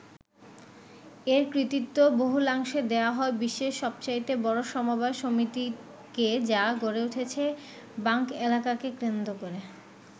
এর কৃতিত্ব বহুলাংশে দেয়া হয় বিশ্বের সবচাইতে বড় সমবায় সমিতিকে যা গড়ে উঠেছে বাস্ক এলাকাকে কেন্দ্র করে।